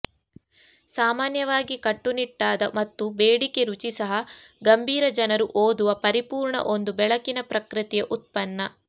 ಸಾಮಾನ್ಯವಾಗಿ ಕಟ್ಟುನಿಟ್ಟಾದ ಮತ್ತು ಬೇಡಿಕೆ ರುಚಿ ಸಹ ಗಂಭೀರ ಜನರು ಓದುವ ಪರಿಪೂರ್ಣ ಒಂದು ಬೆಳಕಿನ ಪ್ರಕೃತಿಯ ಉತ್ಪನ್ನ